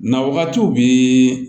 Na wagatiw bi